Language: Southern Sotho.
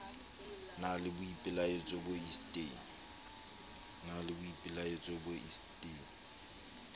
na le boipelaetso bo isteng